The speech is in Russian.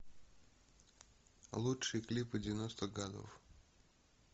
лучшие клипы девяностых годов